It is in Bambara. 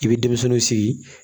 I bɛ denmisɛnninw sigi